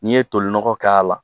N'i ye toli nɔgɔ k'a la